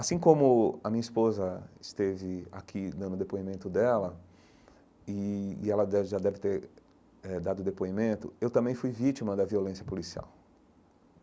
Assim como a minha esposa esteve aqui dando depoimento dela, e ela deve já deve ter eh dado depoimento, eu também fui vítima da violência policial.